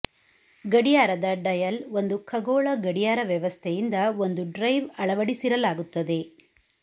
ಗಡಿಯಾರದ ಡಯಲ್ ಒಂದು ಖಗೋಳ ಗಡಿಯಾರ ವ್ಯವಸ್ಥೆಯಿಂದ ಒಂದು ಡ್ರೈವ್ ಅಳವಡಿಸಿರಲಾಗುತ್ತದೆ